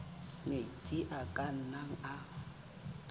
metsi a ka nnang a